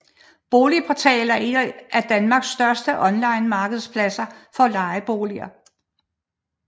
BoligPortal er en af Danmarks største online markedspladser for lejeboliger